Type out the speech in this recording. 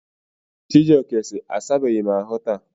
Chijioke si, asabeghị m asa ahụ taa.